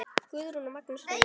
Guðrún og Magnús Reynir.